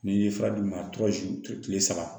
N'i ye fura d'u ma tile saba